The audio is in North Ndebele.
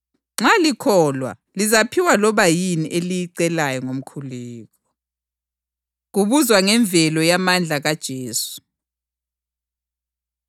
Nxa likholwa, lizaphiwa loba yini eliyicelayo ngomkhuleko.” Kubuzwa Ngemvelo Yamandla KaJesu